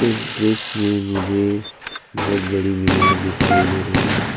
इस दृश्य में मुझे बहुत बड़ी मीनार दिखाई दे रही है।